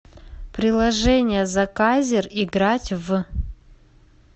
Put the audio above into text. приложение заказер играть в